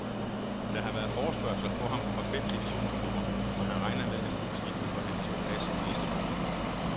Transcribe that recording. Der har været forespørgsler på ham fra fem divisionsklubber, og han regner med at klubskiftet forhandles på plads i næste måned.